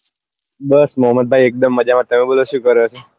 બસ ભાઈ મોહમદ ભાઈ એક દમ મજામાં તમે બોલો શું કરો છો